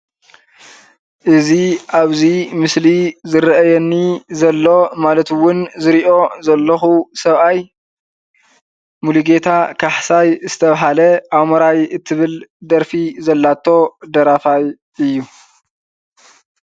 እዚ ኣብዚ ምስሊ ዝረአየኒ ዘሎ ማለት እውን ዝሪኦ ዘለኹ ሰብኣይ ሙሉጌታ ካሕሳይ ዝተባሃለ ኣሞራይ እትብል ደርፊ ዘለቶ ደራፋይ እዩ፡፡